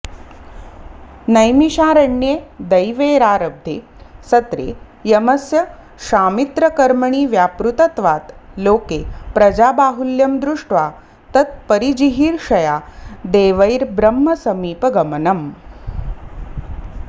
नैमिशारण्ये देवैरारब्धे सत्रे यमस्य शामित्रकर्मणि व्यापृतत्वात् लोके प्रजाबाहुल्यं दृष्ट्वा तत्परिजिहीर्षया देवैर्ब्रह्मसमीपगमनम्